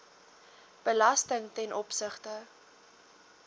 belasting ten opsigte